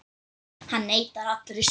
Hann neitar allri sök.